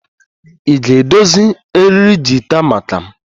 Ị ga-edozi eriri gita maka m?